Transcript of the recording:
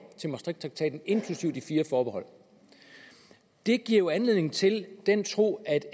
til maastrichttraktaten inklusive de fire forbehold det giver jo anledning til den tro at